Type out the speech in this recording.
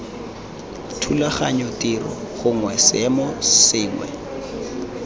thulaganyo tiro gongwe seemo sengwe